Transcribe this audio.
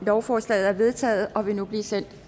lovforslaget er vedtaget og vil nu blive sendt